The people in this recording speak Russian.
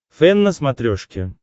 фэн на смотрешке